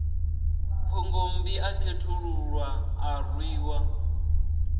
phungommbi a khethululwa a rwiwa